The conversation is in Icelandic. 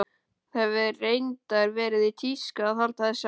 Það hefur reyndar verið í tísku að halda þessu fram.